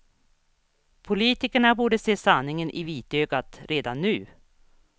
Politikerna borde se sanningen i vitögat redan nu.